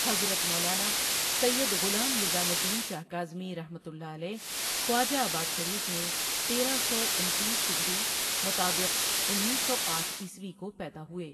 حضرت مولانا سید غلام نظام الدین شاہ کاظمی رحمۃ اللہ علیہ خواجہ آباد شریف میں تیرہ سو انتیس ہجری مطابق انیس سو آٹھ عیسوی کو پیدا ہوئے۔